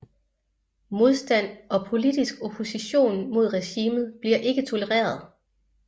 Modstand og politisk opposition mod regimet bliver ikke tolereret